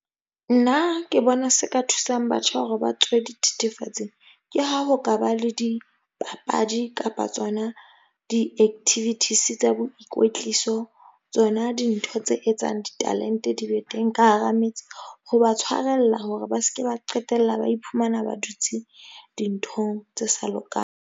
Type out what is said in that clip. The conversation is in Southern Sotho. Nna ke bona se ka thusang batjha hore ba tswe dithethefatsing, ke ha ho ka ba le dipapadi kapa tsona di-activities tsa boikwetliso. Tsona dintho tse etsang di-talent-e di be teng ka hara metsi. Ho ba tshwarella hore ba ske ba qetella ba iphumana ba dutse dinthong tse sa lokang.